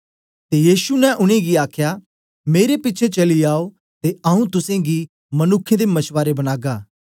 ते यीशु ने उनेंगी आखया मेरे पिछें चली आओ ते आऊँ तुसेंगी मनुक्खें दे मछवारे बनागा